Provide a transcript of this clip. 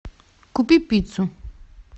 купи пиццу